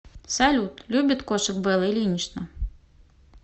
салют любит кошек белла ильинична